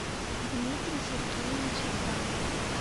дмитрий сергеевич абрамов